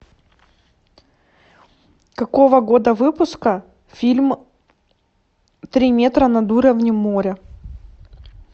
какого года выпуска фильм три метра над уровнем моря